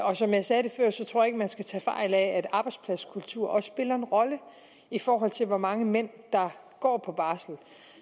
og som jeg sagde før tror jeg ikke man skal tage fejl af at arbejdspladskulturen også spiller en rolle i forhold til hvor mange mænd der går på barsel